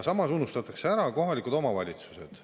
Samas unustatakse ära kohalikud omavalitsused.